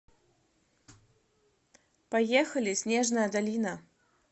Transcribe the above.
поехали снежная долина